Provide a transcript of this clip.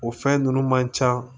O fɛn ninnu man ca